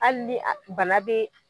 Hali ni bana be